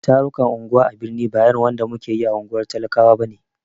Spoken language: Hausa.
Tarukan unguwa a birni ba irin wanda muke yi a unguwar talakawa bane.